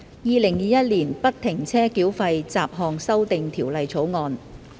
《2021年不停車繳費條例草案》。